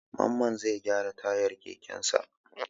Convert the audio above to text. Mamman zai gyara tayar kekensa.